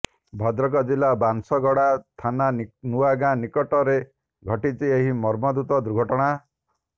ଭଦ୍ରକ ଜିଲ୍ଲା ବାଂଶଗଡ଼ା ଥାନା ନୂଆଗାଁ ନିକଟରେ ଘଟିଛି ଏହି ମର୍ମନ୍ତୁଦ ଦୁର୍ଘଟଣା